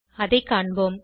அதை காண்போம்